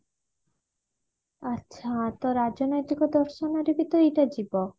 ଆଛା ତ ରାଜନୈତିକ ଦର୍ଶନ ରେ ବି ତ ଏଇଟା ଯିବ